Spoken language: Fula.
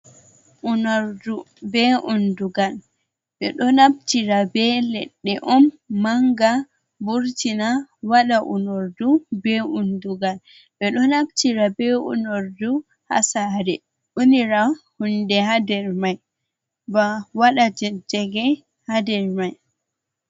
Unordu be undugal, ɓe ɗo naftira be leɗɗe on manga burtina waɗa unordu be undugal, ɓe ɗo naftira be unordu haa saare, unira hunde haa nder mai ba waɗa jajjage haa nder mai.